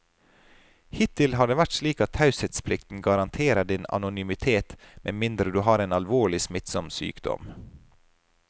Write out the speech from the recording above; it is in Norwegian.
Hittil har det vært slik at taushetsplikten garanterer din anonymitet med mindre du har en alvorlig, smittsom sykdom.